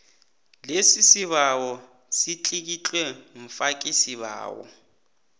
lesibawo litlikitlwe mfakisibawo